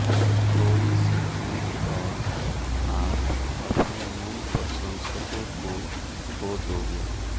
थोड़ी सी चूक और आप अपने मूल प्रशंसकों को खो दोगे